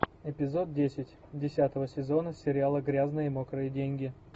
эпизод десять десятого сезона сериала грязные мокрые деньги